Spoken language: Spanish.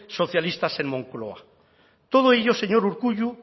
socialistas en moncloa todo ello señor urkullu